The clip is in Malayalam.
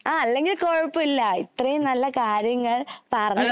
ആ അല്ലെങ്കിൽ കുഴപ്പമില്ല ഇത്രേം നല്ല കാര്യങ്ങൾ പറഞ്ഞു തന്നതിന് നന്ദി.